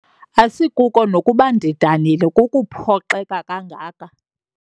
Asikuko nokuba ndidanile kukuphoxeka kangaka.